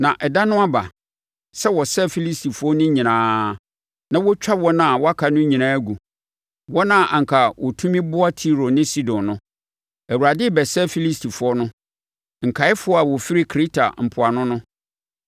Na ɛda no aba sɛ wɔsɛe Filistifoɔ no nyinaa na wɔtwa wɔn a wɔaka no nyinaa gu, wɔn a anka wɔtumi boa Tiro ne Sidon no. Awurade rebɛsɛe Filistifoɔ no, nkaeɛfoɔ a wɔfiri Kreta mpoano no.